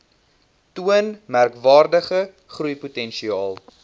toon merkwaardige groeipotensiaal